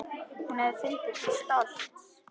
Hún hefði fundið til stolts.